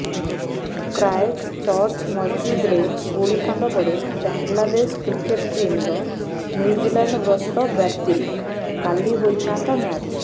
Christchurch ମସ୍ଜିଦ୍ରେ ଗୁଳିକାଣ୍ଡ ପରେ ବାଂଲାଦେଶ କ୍ରିକେଟ୍ ଟିମ୍ର ନ୍ୟୁଜିଲାଣ୍ଡ ଗସ୍ତ ବାତିଲ କାଲି ହୋଇଥାନ୍ତା ମ୍ୟାଚ୍